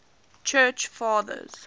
church fathers